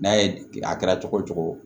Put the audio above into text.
N'a ye a kɛra cogo cogo